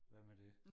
Hvad med det?